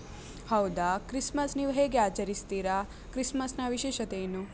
ಹೌದಾ. christmas ನೀವ್ ಹೇಗ್ ಆಚರಿಸ್ತೀರಾ? christmas ನ ವಿಶೇಷತೆ ಏನು?